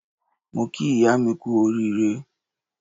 Mo kí ìyá mi kú oríire.